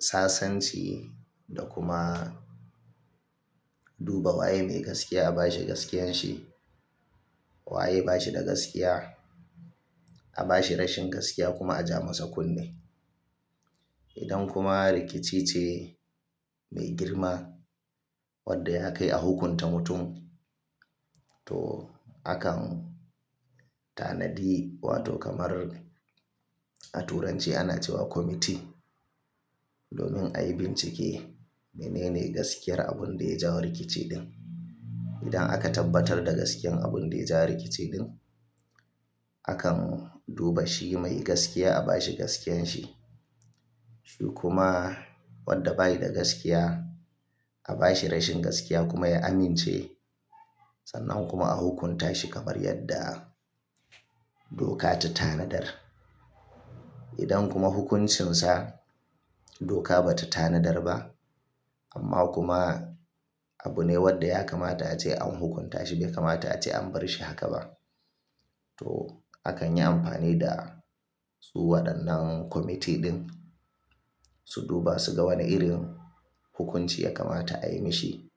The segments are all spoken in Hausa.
sasanci da kuma duba waye mai gaskiya a bashi gaskiyan shi, waye bashi da gaskiya a bashi rashin gaskiya kuma a ja masa kunne. Idan kuma rikici ce mai girma wadda ya kai a hukunta mutum, to akan tanadi wato kamar a turanci ana cewa "Committee" domin a yi bincike menene gaskiyar abun da ya jawo rikici din. Idan aka tabbatar da gaskiyar abun da ya ja rikici din, akan duba shi mai gaskiya a bashi gaskiyan shi, shi kuma wadda bayi da gaskiya a bashi rashin gaskiya kuma ya amince sannan kuma a hukunta shi kamar yadda doka ta tanadar. Idan kuma hukuncinsa doka ba ta tanadar ba amma kuma abu ne wadda ya kamata ace an hukunta shi bai kamata ace an bari shi haka ba, to akan yi amfani da su waɗannan "Committee" din su duba su ga wane irin hukunci ya kamata a yi mashi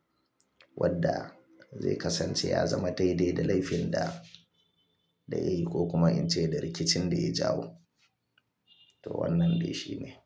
wadda zai kasance ya zama daidai da laifin da, da yayi ko kuma in ce da rikicin da ya jawo. To wannan dai shine.